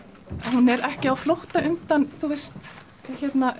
hún er ekki á flótta undan þú veist